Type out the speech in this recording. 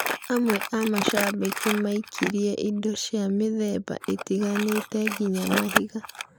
Amwe a macabiki maikirĩe indo cia mĩthemba ĩtiganĩte nginya mahiga.